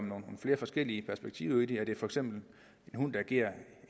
nogle flere forskellige perspektiver er det for eksempel en hund der agerer